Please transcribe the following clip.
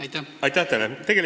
Aitäh teile!